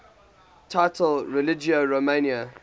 title religio romana